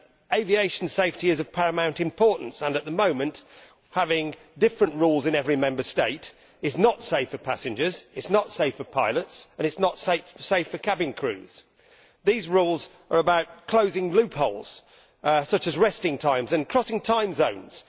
Aviation safety is of paramount importance, and at the moment having different rules in every Member State is not safe for passengers, it is not safe for pilots and is not safe for cabin crews. These rules are about closing loopholes, such as resting times and crossing time zones.